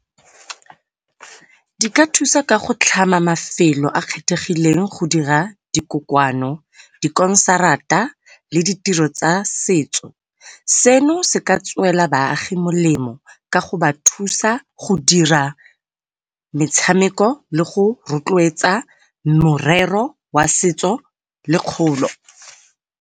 Di ka thusa ka go tlhama mafelo a a kgethegileng go dira dikokoano, dikonsarata le ditiro tsa setso. Seno se ka tswela baagi molemo ka goba thusa go dira metshameko le go rotloetsa morero wa setso le kgolo.